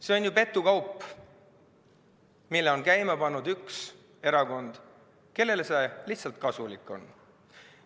See on petukaup, mille on käima pannud üks erakond, kellele see lihtsalt kasulik on.